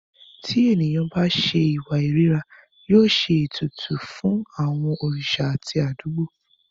Ti ènìyàn bá ṣe ìwà ìríra, yóò ṣe ìpètùtù fún àwọn òrìṣà àti àdúgbò.